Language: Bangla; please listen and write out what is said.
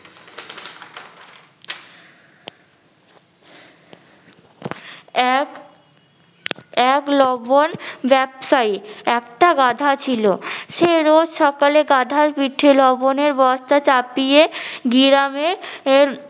এক এক লবন ব্যবসায়ী একটা গাধা ছিল। সে রোজ সকালে গাধার পিঠে লবণের বস্তা চাপিয়ে গিরামে এহ